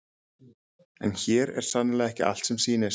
en hér er sannarlega ekki allt sem sýnist